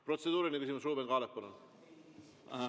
Protseduuriline küsimus, Ruuben Kaalep, palun!